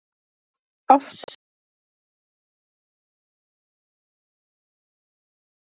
Oftast grafa samlokur sig í lausan jarðveg undir vatnsyfirborði.